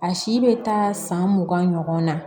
A si bɛ taa san mugan ɲɔgɔn na